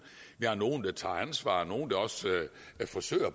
vi har nogle der tager ansvar og forsøger